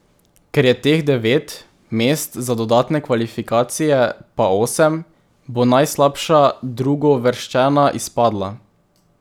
Ker je teh devet, mest za dodatne kvalifikacije pa osem, bo najslabša drugouvrščena izpadla.